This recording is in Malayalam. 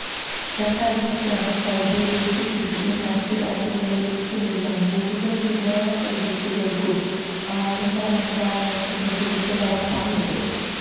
രണ്ടാഴ്ചത്തേക്കാണ് സൌദിയിലേക്കും തിരികെ മറ്റ് രാജ്യങ്ങളിലേക്കമുള്ള മുഴുവൻ വിമാന സർവീസുകൾക്കും ആഭ്യന്തര മന്ത്രാലയത്തിന്റെ വിലക്ക് നടപ്പായത്